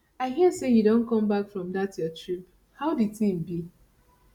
i hear sey you don come back from dat your trip how di thing be